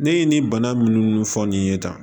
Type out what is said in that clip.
Ne ye nin bana minnu fɔ nin ye tan